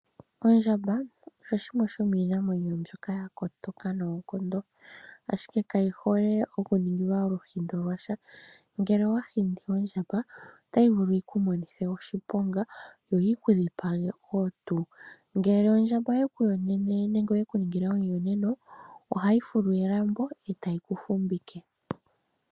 Ondjamba osho shimwe shomiinamwenyo mbyoka ya kotoka noonkondo, ashike kayi hole okuningilwa oluhindo lwa sha. Ngele owa hindi ondjamba, otayi vulu yi ku monithe oshiponga, yo yi ku dhipage wo tuu. Ngele ondjamba oye ku yonene nenge oye ku ningile omuyonena, ohayi fulu elambo, e tayi ku fumvike.